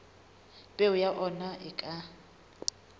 peo ya ona e ka